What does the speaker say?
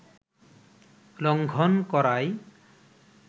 লঙ্ঘন করায়